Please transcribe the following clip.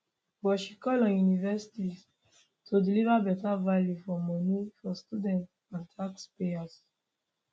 but she call on universities to deliver better value for money for students and and taxpayers